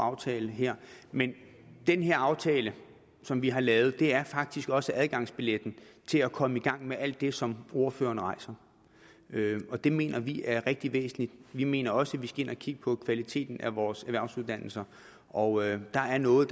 aftale her men den her aftale som vi har lavet er faktisk også adgangsbilletten til at komme i gang med alt det som ordføreren rejser og det mener vi er rigtig væsentligt vi mener også vi skal ind at kigge på kvaliteten af vores erhvervsuddannelser og der er noget